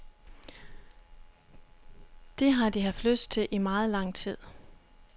Det har de haft lyst til i meget lang tid.